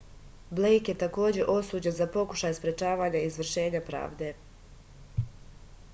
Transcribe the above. blejk je takođe osuđen za pokušaj sprečavanja izvršenja pravde